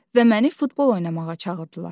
Və məni futbol oynamağa çağırdılar.